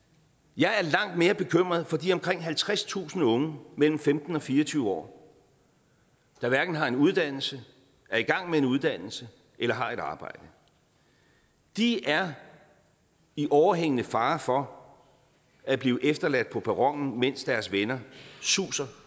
jeg er langt mere bekymret for de omkring halvtredstusind unge mellem femten og fire og tyve år der hverken har en uddannelse er i gang med en uddannelse eller har et arbejde de er i overhængende fare for at blive efterladt på perronen mens deres venner suser